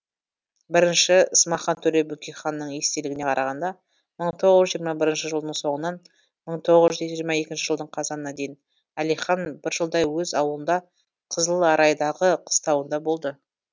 біріншісі смахан төре бөкейханның естелігіне қарағанда мың тоғыз жүз жиырма бірінші жылдың соңынан мың тоғыз жүз жиырма екінші жылдың қазанына дейін әлихан бір жылдай өз ауылында қызыларайдағы қыстауында болды